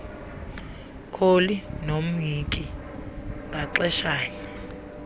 kholi nomhinki ngaxeshanye